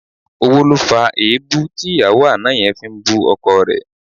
Owó ló fa èébú tí ìyàwó àná yẹn fi ń bú ọkọ rẹ̀